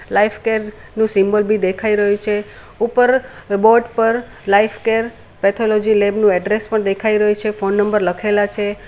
Lifecare નું symbol બી દેખાય રહ્યું છે ઉપર બોર્ડ પર લાઇફકેર પેથોલોજી લેબ નું એડ્રેસ પણ દેખાય રહ્યું છે ફોન નંબર લખેલા છે.